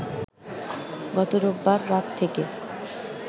গত রোববার রাত থেকে